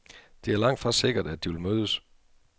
Det er langtfra sikkert, at de vil mødes.